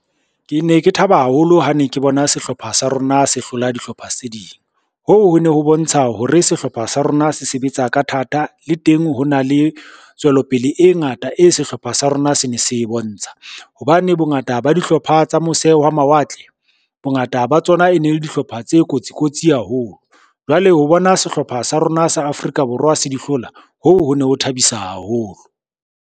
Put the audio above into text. Ke ne ke thaba haholo ha ne ke bona sehlopha sa rona se hlola dihlopha tse ding, hoo ho ne ho bontsha hore sehlopha sa rona se sebetsa ka thata le teng ho na le tswelopele e ngata e sehlopha sa rona se ne se bone ntsha. Hobane bongata ba dihlopha tsa mose wa mawatle, bongata ba tsona e ne le dihlopha tse kotsi kotsi haholo, jwale ho bona sehlopha sa rona sa Afrika Borwa se di hlola hoo ho ne ho thabisa haholo.